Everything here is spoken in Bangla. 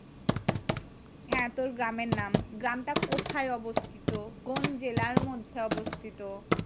হ্যাঁ তোর গ্রামের নাম, গ্রামটা কোথায় অবস্থিত, কোন জেলার মধ্যে অবস্থিত,